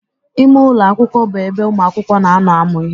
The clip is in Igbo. Ime ụlọ akwụkwọ bụ ebe ụmụakwụkwọ na-anọ amụ ihe.